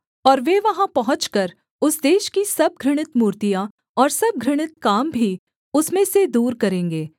और वे वहाँ पहुँचकर उस देश की सब घृणित मूर्तियाँ और सब घृणित काम भी उसमें से दूर करेंगे